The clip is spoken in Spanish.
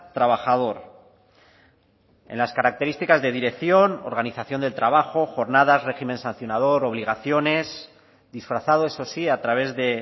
trabajador en las características de dirección organización del trabajo jornadas régimen sancionador obligaciones disfrazado eso sí a través de